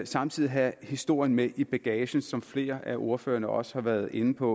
samtidig have historien med i bagagen som flere af ordførerne også har været inde på